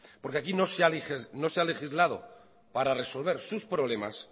porque aquí no se ha legislado para resolver sus problemas